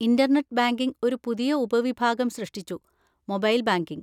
Internet banking ഒരു പുതിയ ഉപവിഭാഗം സൃഷ്ടിച്ചു, മൊബൈൽ ബാങ്കിംഗ്.